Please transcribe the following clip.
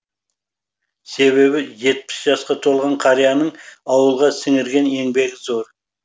себебі жетпіс жасқа толған қарияның ауылға сіңірген еңбегі зор